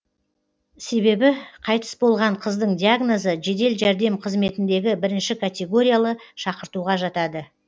себебі қайтыс болған қыздың диагнозы жедел жәрдем қызметіндегі бірінші категориялы шақыртуға жатады